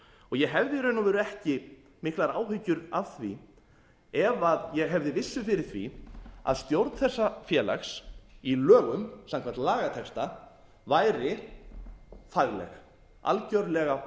og ég hefði í raun og veru ekki miklar áhyggjur af því ef ég hefði vissu fyrir því að stjórn þessa félags í lögum samkvæmt lagatexta væri fagleg algjörlega